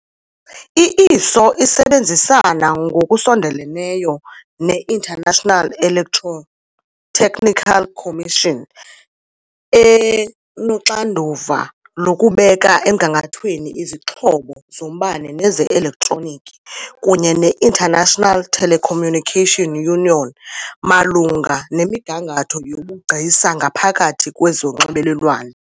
I-ISO isebenzisana ngokusondeleyo ne-International Electrotechnical Commission enoxanduva lokubeka emgangathweni izixhobo zombane neze-elektroniki, kunye ne- International Telecommunication Union malunga nemigangatho yobugcisa ngaphakathi kwezonxibelelwano.